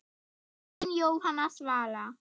Þín Jóhanna Svala.